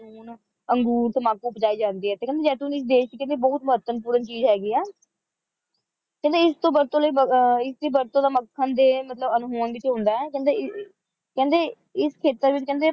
ਅੰਗੂਰ ਤੰਬਾਕੂ ਉਪਜਾਏ ਜਾਂਦੇ ਹੈ ਇੱਥੇ ਤੇ ਕਹਿੰਦੇ ਜੈਤੂਨ ਇਸ ਦੇਸ਼ ਦੇ ਵਿੱਚ ਬਹੁਤ ਮਹੱਤਵਪੂਰਨ ਚੀਜ਼ ਹੈਗੀ ਹੈ ਕਹਿੰਦੇ ਇਸ ਤੋਂ ਵਰਤੋਂ ਇਸਦੀ ਵਰਤੋਂ ਮੱਖਣ ਦੇ ਅਹ ਅਣਹੋਂਦ ਵਿੱਚ ਹੁੰਦਾ ਹੈ ਕਹਿੰਦੇ ਈ`ਈ ਕਹਿੰਦੇ ਇਸ ਖੇਤਰ ਵਿੱਚ